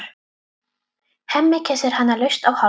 Hemmi kyssir hana laust á hálsinn.